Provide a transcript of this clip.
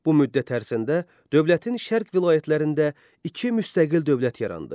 Bu müddət ərzində dövlətin şərq vilayətlərində iki müstəqil dövlət yarandı.